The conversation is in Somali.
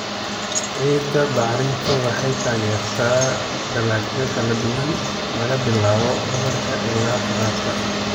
Ciidda bacrintu waxay taageertaa dalagyo kala duwan, laga bilaabo badarka ilaa khudaarta.